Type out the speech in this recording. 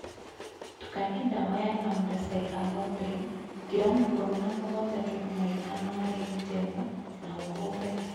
tũkanĩa dawa ya lambdacyhalothrĩn ngĩramũ ĩkũmĩ na mũgwanja tũrũma ĩthano harĩ lĩta ĩmwe na ũhũũre